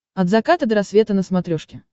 от заката до рассвета на смотрешке